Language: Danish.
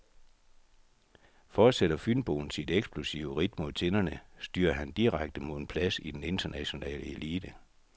Fortsætter fynboen sit eksplosive ridt mod tinderne, styrer han direkte mod en plads i den internationale elite.